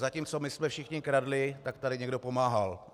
Zatímco my jsme všichni kradli, tak tady někdo pomáhal.